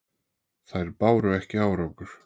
Þær báru ekki árangur.